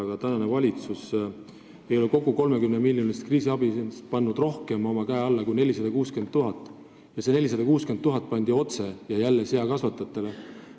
Aga tänane valitsus ei ole kogu 30-miljonilisest kriisiabist pannud oma kätt alla rohkemale kui 460 000 eurole ja see 460 000 anti otse ja jälle seakasvatajatele.